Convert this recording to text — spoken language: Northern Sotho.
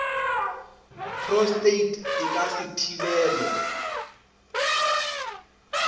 prostate e ka se thibelwe